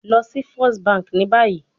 Lọ si first banki ni bayi